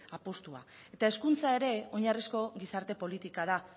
apustua eta hezkuntza ere oinarrizko gizarte politika da